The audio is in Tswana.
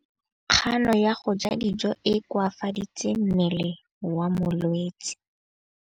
Kganô ya go ja dijo e koafaditse mmele wa molwetse.